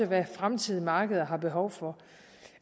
hvad fremtidige markeder har behov for